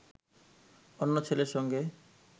অন্য ছেলের সঙ্গে